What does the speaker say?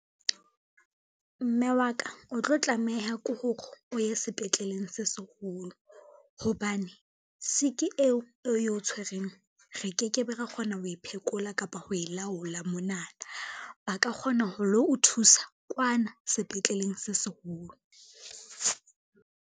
Mme wa ka o tlo tlameha ko hore o ye sepetleleng se seholo, hobane sick eo e o tshwereng re ke ke be ra kgona ho e phekola kapa ho e laola mona, ba ka kgona ho lo o thusa kwana sepetleleng se seholo.